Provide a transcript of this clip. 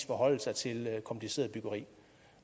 forholde sig til et kompliceret byggeri